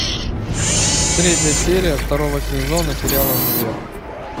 третья серия второго сезона сериала универ